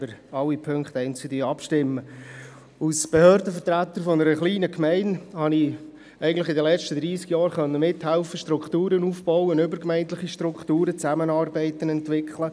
Als Behördenvertreter einer kleinen Gemeinde konnte ich in den vergangenen dreissig Jahren mithelfen, übergemeindliche Strukturen aufzubauen sowie Zusammenarbeiten zu entwickeln.